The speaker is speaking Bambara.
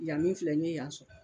Yan min filɛ n ye yan sɔrɔ